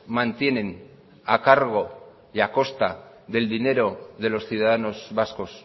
mantienen a cargo y a costa del dinero de los ciudadanos vascos